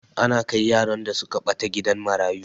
Ana kai yaran da suka ɓata gidan marayu.